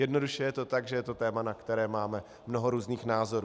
Jednoduše je to tak, že je to téma, na které máme mnoho různých názorů.